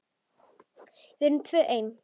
Við erum tvö ein.